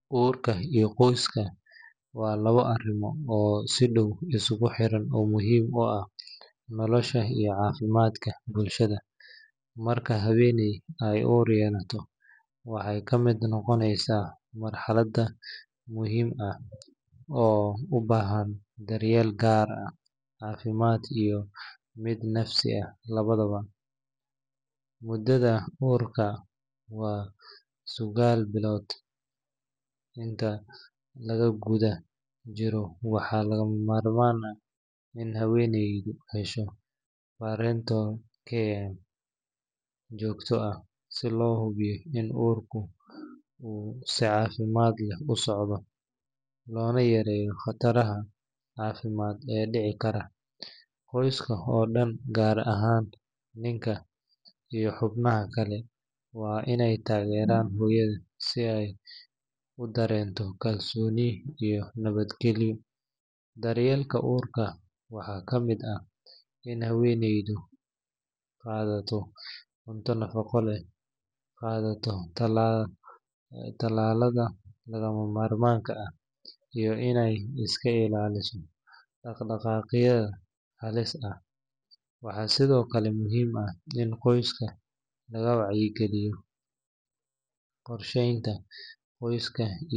Urka iyo qoyska waa lawa arimo oo si daw laskugu xira nolosha iyo cafimaadka bulshaada marka haweneey ee ur noqota waxee ka miid noqoneysa muhiim ah oo u bahan daryeel gaar ah cafimaad iyo miid nafsi ah lawadawa mudadha urka waa sagal bilod inta lagu gudha jiro waxaa surta gal ah in haweneyda dasho ee jogto ah si lo hubiyo in urka u usocdo si wanagsan, qoyska gar ahan ninka iyo xubnaha kale waa in ee tageran hoyaada si ee u darento kalsoni iyo nawaad galiyo daryeelka urka waxaa kamiid ah in ee haweneydu qadato talalada laga mamarmanka ah iyo in ee iska ilaliso daq daqaqyaada has ah, waa sithokale muhiim ah in qoyska laga wacyi galiyo qorshenta qoyska.